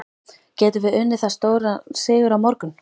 Getum við unnið það stóran sigur á morgun?